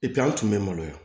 an tun bɛ maloya